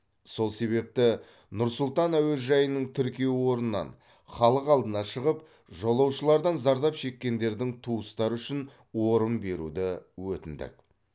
сол себепті нұр сұлтан әуежайының тіркеу орнынан халық алдына шығып жолаушылардан зардап шеккендердің туыстары үшін орын беруді өтіндік